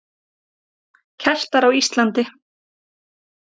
Keltar á Íslandi.